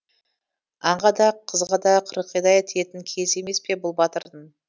аңға да қызға да қырғидай тиетін кезі емес пе бұл батырдың